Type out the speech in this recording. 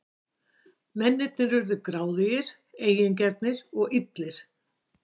Mennirnir urðu gráðugir, eigingjarnir og illir.